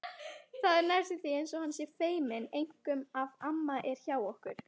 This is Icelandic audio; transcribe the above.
Það er næstum því eins og hann sé feiminn, einkum ef amma er hjá okkur.